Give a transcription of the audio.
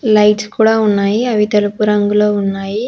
Lights కూడా ఉన్నాయి అవి తెలుపు రంగులో ఉన్నాయి.